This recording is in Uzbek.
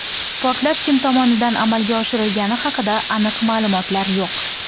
Portlash kim tomonidan amalga oshirilgani haqida aniq ma’lumotlar yo‘q.